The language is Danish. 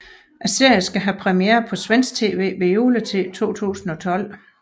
Serien skal have premiere på svensk tv ved juletid i 2012